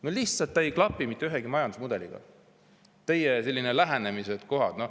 No lihtsalt ei klapi mitte ühegi majandusmudeliga teie sellised lähenemised.